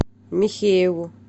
михееву